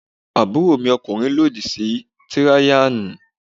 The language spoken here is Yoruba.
Àbúròmi ọkùnrin lòdì sí tíráyánì.